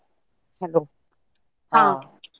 Hello .